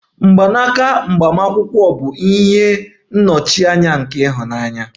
Agbamakwụkwọ agbamakwụkwọ bụ ihe nnọchianya nke ịhụnanya